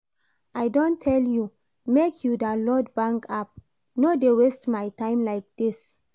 I don tell you make you download bank app, no dey waste my time like this